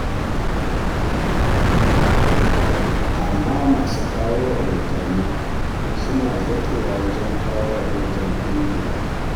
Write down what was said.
Amma masu kawo rahotanni suna zaƙewa wajen kawo rahoton ƙungiyar.